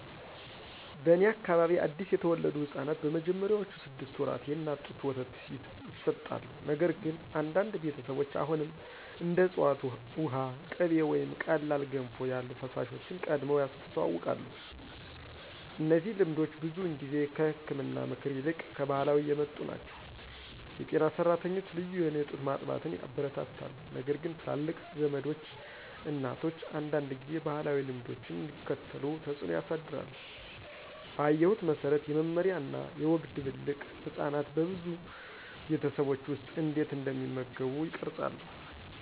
በእኔ አካባቢ አዲስ የተወለዱ ሕፃናት በመጀመሪያዎቹ ስድስት ወራት የእናት ጡት ወተት ይሰጣሉ፣ ነገር ግን አንዳንድ ቤተሰቦች አሁንም እንደ ዕፅዋት ውሃ፣ ቅቤ ወይም ቀላል ገንፎ ያሉ ፈሳሾችን ቀድመው ያስተዋውቃሉ። እነዚህ ልምዶች ብዙውን ጊዜ ከህክምና ምክር ይልቅ ከባህላዊ የመጡ ናቸው. የጤና ሰራተኞች ልዩ የሆነ ጡት ማጥባትን ያበረታታሉ ነገርግን ትላልቅ ዘመዶች እናቶች አንዳንድ ጊዜ ባህላዊ ልምዶችን እንዲከተሉ ተጽዕኖ ያሳድራሉ. ባየሁት መሰረት፣ የመመሪያ እና የወግ ድብልቅ ህጻናት በብዙ ቤተሰቦች ውስጥ እንዴት እንደሚመገቡ ይቀርጻሉ።